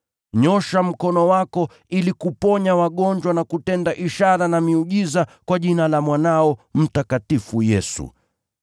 Nyoosha mkono wako ili kuponya wagonjwa na kutenda ishara na miujiza kwa jina la Mwanao mtakatifu Yesu.”